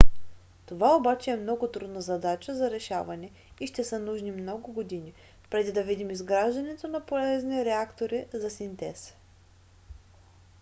това обаче е много трудна задача за решаване и ще са нужни много години преди да видим изграждането на полезни реактори за синтез